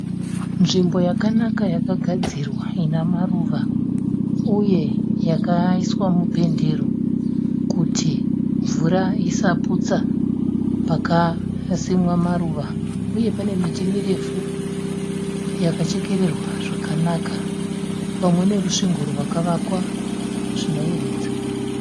Nzvimbo yakanaka yakagadzirwa ine maruva, uye yakaiswa mupendero kuti mvura isaputsa pakasimwa maruva, uye pane miti mirefu yakachekererwa zvakanaka pamwe nerusvingo rwakavakwa zvinoyevedza.